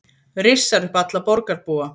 Rissar upp alla borgarbúa